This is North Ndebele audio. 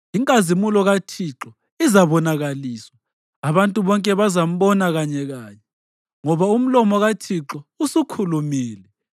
Inkazimulo kaThixo izabonakaliswa, abantu bonke bazambona kanyekanye, ngoba umlomo kaThixo usukhulumile.”